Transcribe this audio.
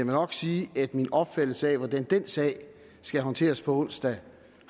nok sige at min opfattelse af hvordan den sag skal håndteres på onsdag